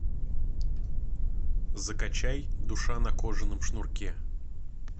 закачай душа на кожаном шнурке